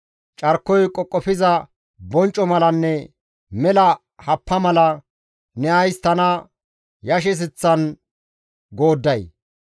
Carkoy qoqofiza boncco malanne mela happa mala ne ays tana yashiseththan goodday?